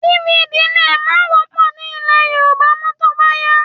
DVD lè má wọ́pọ̀ ní ilẹ̀ Yorùbá mọ́ tó bá yá